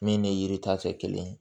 Min ni yiri ta tɛ kelen ye